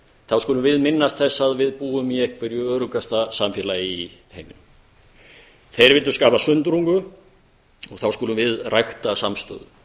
þá skulum við minnast þess að við búum í einhverju öruggasta samfélagi í heiminum þeir vildu skapa sundrungu og þá skulum við rækta samstöðu